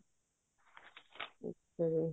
ਹਮ